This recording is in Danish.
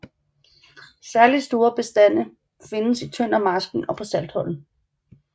Særligt store bestande findes i Tøndermarsken og på Saltholm